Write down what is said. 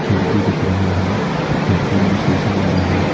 खिड़की दिख रहा है खिड़की में शीशा लगा है।